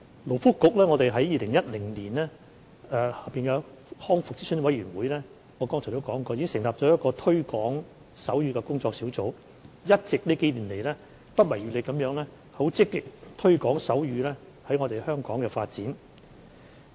勞工及福利局於2010年在康復諮詢委員會下——我剛才已提及——成立了一個推廣手語工作小組，近數年來一直不遺餘力地積極推廣手語在香港的發展。